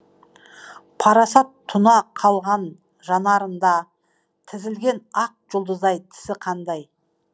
парасат тұна қалған жанарында тізілген ақ жұлдыздай тісі қандай